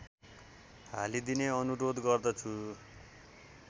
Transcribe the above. हालिदिने अनुरोध गर्दछु